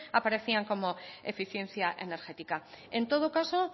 aparecían como eficiencia energética en todo caso